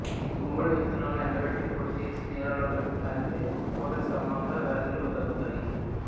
గుమ్మడి విత్తనాలను ఎండబెట్టి పొడిచేసి నీళ్ళలో కలిపి తాగితే మూత్ర సంభంద వ్యాధులు తగ్గుతాయి